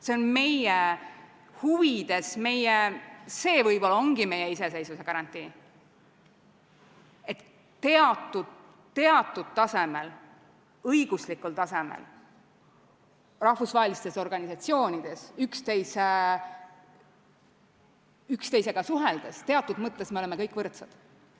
See on meie huvides, see ongi võib-olla meie iseseisvuse garantii, et teatud õiguslikul tasemel rahvusvahelistes organisatsioonides üksteisega suheldes me oleme teatud mõttes kõik võrdsed.